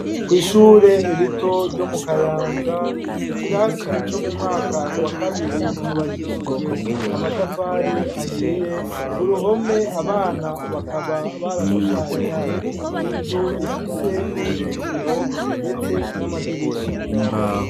Kw'ishure rito ryo mu Kayanza, ikirasi co mu mwaka wa kabiri cubakishijwe amatafari ahiye ku ruhome abana bakaba barashushanyije inzu ifise uruzitiro ndetse n'amadirisha.